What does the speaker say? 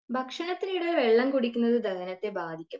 ഭക്ഷണത്തിനിടെ വെള്ളം കുടിക്കുന്നത് ദഹനത്തെ ബാധിക്കും.